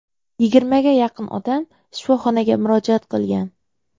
Yigirmaga yaqin odam shifoxonaga murojaat qilgan.